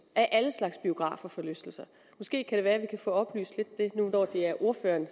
er alle slags biografer forlystelser måske kan vi få oplyst lidt det nu når det er ordføreren